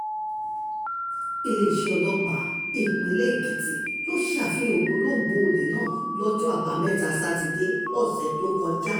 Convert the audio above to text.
iléeṣẹ́ ọlọ́pàá ìpínlẹ̀ um èkìtì ló ṣe àfihàn ògbólógbòó olè náà lọ́jọ́ àbámẹ́ta um sátidé ọ̀sẹ̀ tó kọjá